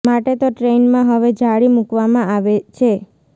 માટે તો ટ્રેઈનમાં હવે જાળી મૂકવામાં આવે છે